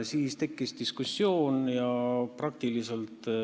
Siis tekkis diskussioon.